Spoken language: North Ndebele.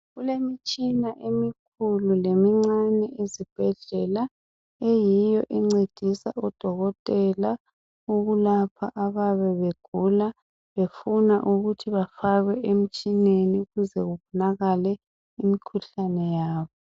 kulemitshina emikhulu lemincane ezibhedlela eyiyo encedisa odokotela ukulapha abayabe begula befuna ukuthi ba fakwe emtshineni ukuze babonakale imikhuhlane yabo